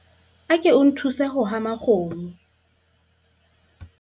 ako nthuse ho hama kgomo